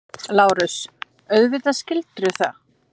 LÁRUS: Auðvitað skildirðu það.